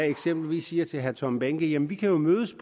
eksempelvis sige til herre tom behnke jamen vi kan jo mødes